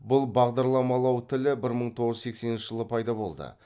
бұл бағдарламалау тілі бір мың тоғыз жүз сексенінші жылы пайда болды